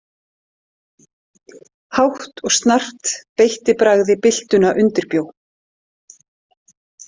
Hátt og snarpt beitti bragði byltuna undirbjó.